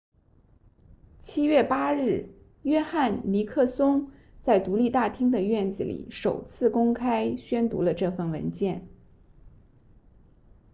7月8日约翰尼克松 john nixon 在独立大厅的院子里首次公开宣读了这份文件